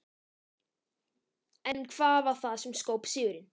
En hvað varð það sem skóp sigurinn?